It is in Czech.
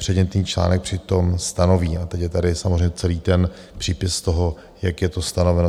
Předmětný článek přitom stanoví - a teď je tady samozřejmě celý ten přípis toho, jak je to stanoveno.